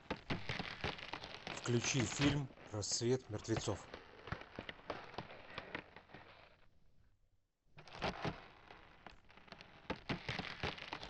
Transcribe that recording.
включи фильм рассвет мертвецов